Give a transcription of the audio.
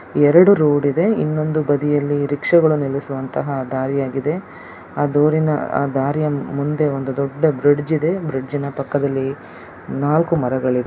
ಎರಡು ರೋಡ್ ಇದೆ ಇನ್ನೊಂದು ಬದಿಯಲ್ಲಿ ರಿಕ್ಷಾಗಳು ನಿಲ್ಲಿಸುವಂತಹ ದಾರಿಯಾಗಿದೆ ಆ ದಾರಿಯ ಮುಂದೆ ಒಂದು ದೊಡ್ಡ ಬ್ರಿಜ್ಇ ದೆ ಅವರ ಪಕ್ಕದಲ್ಲಿ ನಾಲ್ಕು ಮರಗಳಿವೇ .